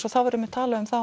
og það verður talað um það á